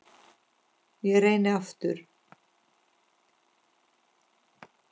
Ég reyni aftur